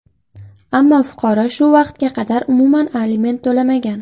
Ammo fuqaro shu vaqtga qadar umuman aliment to‘lamagan.